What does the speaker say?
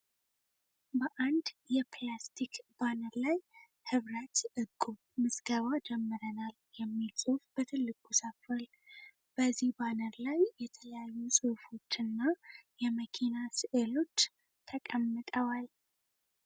በአንድ የፕላስቲክ ባነር ላይ "ህብረት እቁብ ምዝገባ ጀምረናል" የሚል ጽሁፍ በትልቁ ሰፍሯል። በዚህ ባነር ላይ የተለያዩ ጽሁፎች እና የመኪና ስእሎች ተቀምጠዋል።